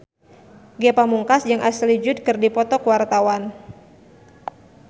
Ge Pamungkas jeung Ashley Judd keur dipoto ku wartawan